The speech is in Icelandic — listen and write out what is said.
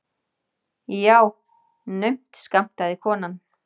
Já, naumt skammtaði konan.